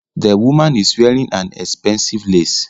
The woman is wearing an expensive lace